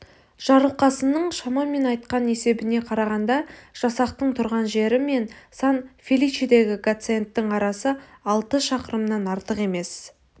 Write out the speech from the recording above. жарылқасынның шамамен айтқан есебіне қарағанда жасақтың тұрған жері мен сан-феличедегі гациендтің арасы алты шақырымнан артық емес